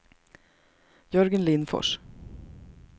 Jörgen Lindfors